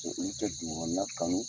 Ulu tɛ dugukɔnɔna kanu.